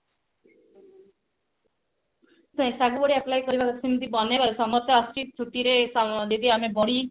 ସେ ସାଗୁ ରେ apply କରିବାକୁ କେମତି ବନେଇବା ଆଉ summer ତ ଆସୁଛି ଛୁଟିରେ ଦିଦି ଆମେ ବଢି